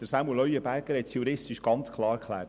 Samuel Leuenberger hat die juristische Sicht aufgezeigt.